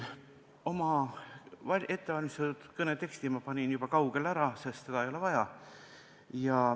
Oma ettevalmistatud kõne teksti panin ma juba kaugele ära, sest seda ei ole vaja.